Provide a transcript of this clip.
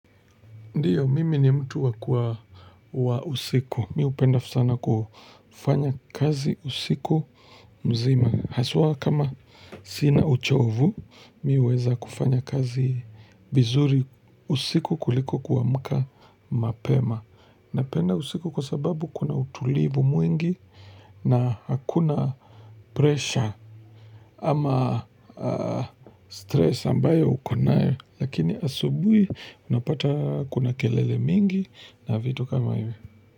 Ndiyo, mimi ni mtu wa kwa wa usiku. Mi hupenda sana kufanya kazi usiku mzima. Haswa kama sina uchovu, mi huweza kufanya kazi vizuri usiku kuliko kuamka mapema. Napenda usiku kwa sababu kuna utulivu mwingi na hakuna pressure ama stress ambayo ukonae. Lakini asubuhi unapata kuna kelele mingi na vitu kama iwe.